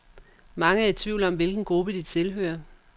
Mange er i tvivl om, hvilken gruppe de tilhører.